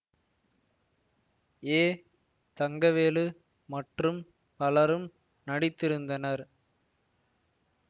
ஏ தங்கவேலு மற்றும் பலரும் நடித்திருந்தனர்